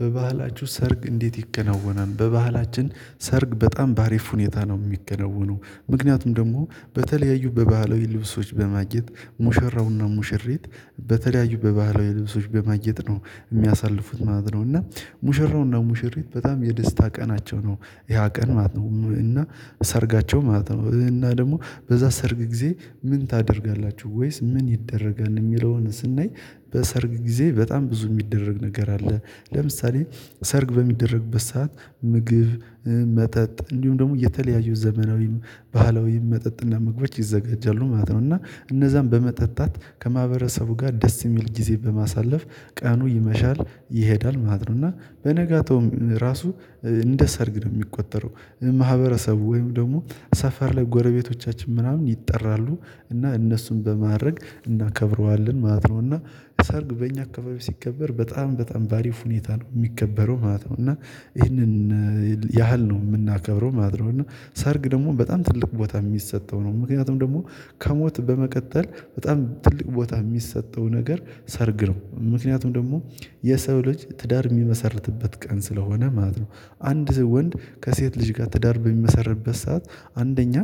በባህላችሁ ሰርግ እንዴት? ይከናወናል በባህላችን ሰርግ በጣም በአሪፍ ሁኔታ ነው የሚከናወነው። ምክንያቱም ደግሞ በተለያዩ ባህላዊ ልብሶች በማጌጥ ሙሸራውና ሙሽሪት በተለያዩ በባህላዊ ልብሶች በማጌጥ ነው የሚያሳልፉት ማለት ነው። እና ሙሽራውና ሙሽሪት በጣም የደስታ ቀናቸው ነው ያ ቀን ማለት እና ሰርጋቸው ማለት ነው። እና ደግሞ በዛ ሰርግ ጊዜ ምን ታደርጋላችሁ ወይስ ምን ይደረጋል የሚለውን ስናይ በሰርግ ጊዜ በጣም ብዙ የሚደረግ ነገር አለ። ለምሳሌ ሰርግ በሚደረግበት ሰዓት ምግብ መጠጥ እንዲሁም ደግሞ የተለያዩ ዘመናዊም ባህላዊም መጠጥና ምግቦች ይዘጋጃሉ ማለት ነው። እና እነዛን በመጠጣት ከማህበረሰቡ ጋር ደስ የሚል ጊዜ በማሳለፍ ቀኑ ይመሻል ይሄዳል ማለት ነው። እና በነጋታውም ራሱ እንደ ሰርግ ነው የሚቆጠረው ማህበረሰቡ ወይም ደግሞ ሰፈር ላይ ጎረቤቶቻችን ምናምን ይጠራሉ እና እነሱን በማድረግ እናከብረዋለን ማለት ነው። እና ሰርግ በእኛ አካባቢ ሲከበር በጣም በጣም በአሪፍ ሁኔታ ነው የሚከበረው ማለት ነው። እና ይሄንን ያህል ነው የምናከብረው ማለት ነው። እና ሰርግ ደግሞ በጣም ትልቁ ቦታ የሚሰጠው ነው ምክንያቱም ደግሞ ከሞት በመቀጠል በጣም ትልቅ ቦታ የሚሰጠው ነገር ሰርግ ነው። ምክንያቱም ደግሞ የሰው ልጅ ትዳር የሚመሰርትበት ቀን ስለሆነ ማለት ነው። አንድ ወንድ ከሴት ልጅ ጋር ትዳር በሚመሰርትበት ሰዓት አንደኛ